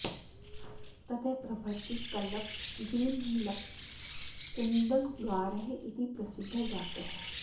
ततः प्रभृतिः कल्लप्प गिरिमल्लप्प कुन्दणगारः इति प्रसिद्धः जातः